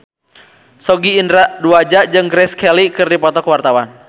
Sogi Indra Duaja jeung Grace Kelly keur dipoto ku wartawan